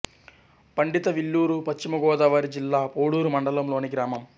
పండితవిల్లూరు పశ్చిమ గోదావరి జిల్లా పోడూరు మండలం లోని గ్రామం